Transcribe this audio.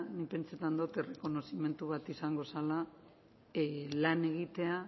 nik pentsetan dot errekonozimendu bat izango zela lan egitea